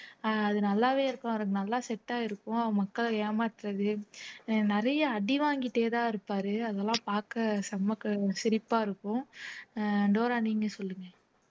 அஹ் அது நல்லாவே இருக்கும் அவரு நல்லா set ஆயிருக்கும் மக்களை ஏமாத்துறது அஹ் நிறைய அடி வாங்கிட்டேதான் இருப்பாரு அதெல்லாம் பார்க்க செம சிரிப்பா இருக்கும் அஹ் டோரா நீங்க சொல்லுங்க